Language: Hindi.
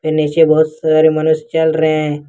नीचे बहुत सारे मनुष्य चल रहे हैं।